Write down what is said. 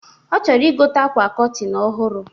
Ọ chọrọ ịgote akwa cọtịn ọhụrụ